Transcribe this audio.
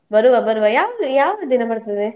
ಬರುವ ಬರುವ ಯಾವ ಯಾವ ದಿನ ಬರ್ತದೆ?